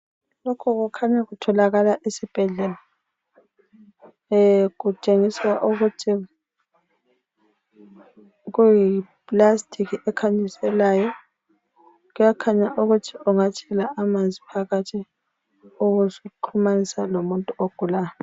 Lokhu kukhanya kutholakala esibhedlela kutshengiswa ukuthi kuyiplastic ekhanyiselayo kuyakhanya ukuthi ungathela amanzi phakathi ubusuxhumanisa lomuntu ogulayo.